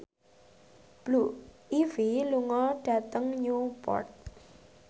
Blue Ivy lunga dhateng Newport